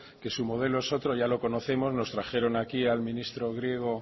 que su modelo es otro ya lo conocemos nos trajeron aquí al ministro griego